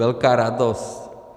Velká radost.